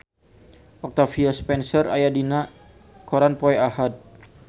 Octavia Spencer aya dina koran poe Ahad